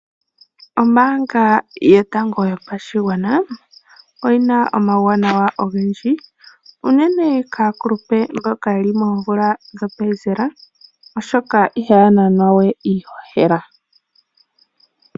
Ombaanga yotango yopashigwana oyi na omawuwanawa ogendji unene kaakulupe mboka ye li moomvula dhopenzela, oshoka ihaya nanwa we iihohela.